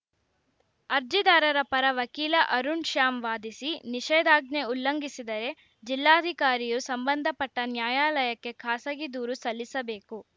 ಅರ್ಜಿದಾರರ ಪರ ವಕೀಲ ಅರುಣ್‌ ಶ್ಯಾಮ್‌ ವಾದಿಸಿ ನಿಷೇಧಾಜ್ಞೆ ಉಲ್ಲಂಘಿಸಿದರೆ ಜಿಲ್ಲಾಧಿಕಾರಿಯು ಸಂಬಂಧಪಟ್ಟ ನ್ಯಾಯಾಲಯಕ್ಕೆ ಖಾಸಗಿ ದೂರು ಸಲ್ಲಿಸಬೇಕು